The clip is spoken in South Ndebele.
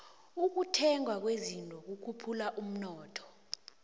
ukuthengwa kwezinto kukhuphula umnotho